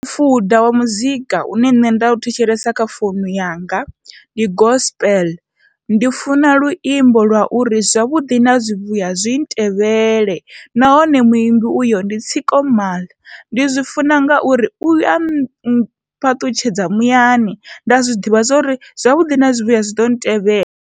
Mufuda wa muzika une nṋe nda thetshelesa kha founu yanga ndi gospel, ndi funa luimbo lwa uri zwavhuḓi na zwivhuya zwi tevhele nahone muimbi uyo ndi tsiko mal, ndi zwi funa ngauri ua phaṱhutshedzo muyani nda zwiḓivha zwori zwavhuḓi na zwivhuya zwi ḓo ntevhelela.